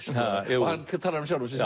og hann talar um sjálfan sig